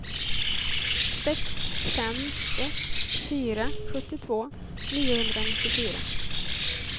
sex fem ett fyra sjuttiotvå niohundranittiofyra